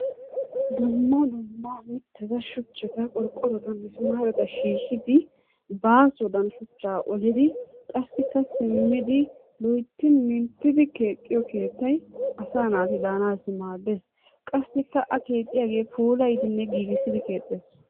Dumma dumma mitata, shuchchata, qorqqorota, misimaareta shiishidi baasowadan shuchaa olidi qasikka simidi loytti minttidi keexxiyo keettay asaa naati daanaassi maaddees, qasikka a keexxiyagee puulayidinne giigissidi keexxees.